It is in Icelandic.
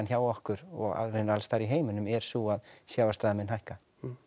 hjá okkur og í raun alls staðar í heiminum er sú að sjávarstaða mun hækka